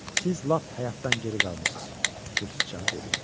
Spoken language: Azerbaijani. Siz lap həyatdan geri qalmısız, su siçanı dedi.